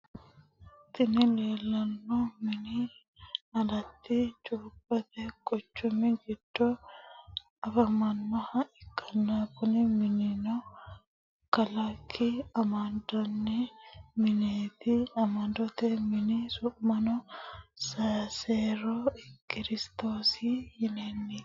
Tini lellano mini alatti chukote quchumi gido affamanoha ikana kuni minino kaliki amaninanni minette amanote mini su’mino mesere kiristosi yinanite.